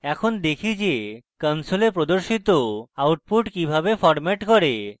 এখন দেখি যে console প্রদর্শিত output কিভাবে ফরম্যাট করে